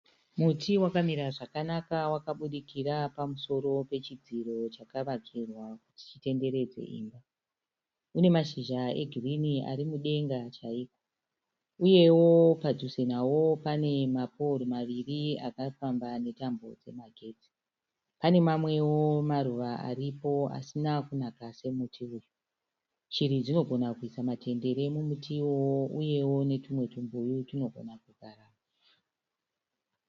Muti wakamira zvakanaka wakabudikira zvakanaka pamusoro pechidziro chakavakirwa chitenderedzo. unemashizha egirirni arimudenge chaizvo uye wo paduze nawoma panema powuri maviri akafambwa netambo dzemagetsi. Pane mamwe maruva aripo asina kunaka semuti uyu .Shiri dzinogona kuisa matendere mukatimemuti uyo uye wo tumwe tupuyu tunogona kugara mo.